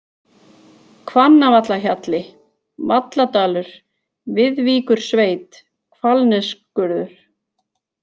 Hvannavallahjalli, Valladalur, Viðvíkursveit, Hvalnesskurður